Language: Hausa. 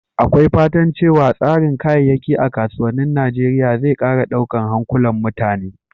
Akwai fatan cewa tsarin kayayyaki a kasuwannin Najeriya zai ƙara daukar hankulan mutane.